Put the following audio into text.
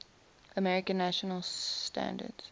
american national standards